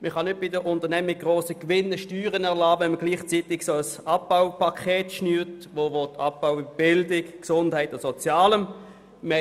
Man kann nicht bei den Unternehmungen Steuern erlassen, wenn man gleichzeitig ein Abbaupaket schnürt, das Abbau bei Bildung, Gesundheit und Sozialem will.